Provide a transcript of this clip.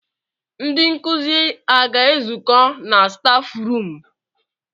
Ndị nkụzi aga ezukọ na staf ruum?